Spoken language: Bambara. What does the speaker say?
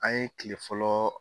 An ye kile fɔlɔ